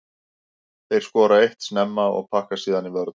Þeir skora eitt snemma og pakka síðan í vörn.